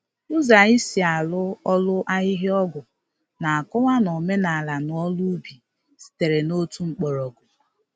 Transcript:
Ụzọ anyị si arụ ọrụ ahihia-ọgwụ na-akọwa na omenala na ọrụ ubi sitere n’otu mgbọrọgwụ.